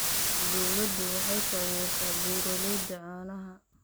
Dawladdu waxay taageertaa beeralayda caanaha.